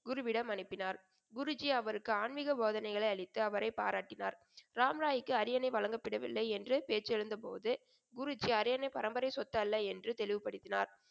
குருவிடம் அனுப்பினார். குருஜி அவருக்கு ஆன்மீக போதனைகளை அளித்து அவரைப் பாராட்டினார். ராம்ராய்க்கு அரியணை வழங்கப்படவில்லை என்ற பேச்சு எழுந்த போது, குருஜி அரியணை பரம்பரை சொத்து அல்ல என்று தெளிவுபடுத்தினார்.